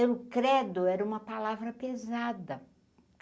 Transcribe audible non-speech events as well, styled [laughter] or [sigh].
[unintelligible] credo, era uma palavra pesada.